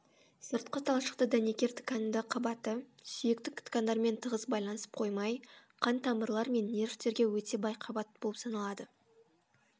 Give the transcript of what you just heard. сыртқы талшықты дәнекер тканді қабаты сүйектік ткандермен тығыз байланысып қоймай қан тамырлар мен нервтерге өте бай қабат болып саналады